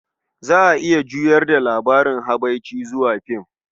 Za a iya juyar da labarin habarce zuwa film.